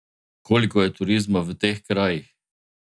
Koliko je turizma v teh krajih?